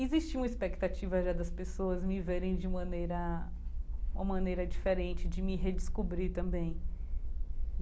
Existia uma expectativa já das pessoas, me verem de maneira... uma maneira diferente de me redescobrir também.